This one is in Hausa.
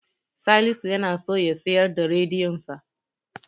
Salisu yana so ya siyar da rediyonsa.